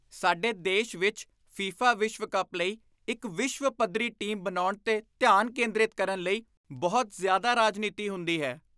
ਸਾਡੇ ਦੇਸ਼ ਵਿੱਚ ਫੀਫਾ ਵਿਸ਼ਵ ਕੱਪ ਲਈ ਇੱਕ ਵਿਸ਼ਵ ਪੱਧਰੀ ਟੀਮ ਬਣਾਉਣ 'ਤੇ ਧਿਆਨ ਕੇਂਦਰਿਤ ਕਰਨ ਲਈ ਬਹੁਤ ਜ਼ਿਆਦਾ ਰਾਜਨੀਤੀ ਹੁੰਦੀ ਹੈ।